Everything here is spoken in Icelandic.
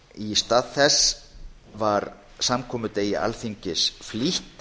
í stað þess var samkomudegi alþingis flýtt